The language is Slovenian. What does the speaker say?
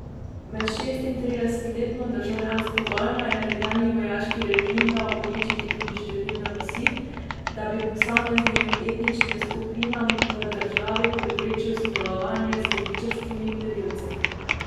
Med šestintridesetletno državljansko vojno je nekdanji vojaški režim dal uničiti tudi številne vasi, da bi posameznim etničnim skupinam v državi preprečil sodelovanje z levičarskimi gverilci.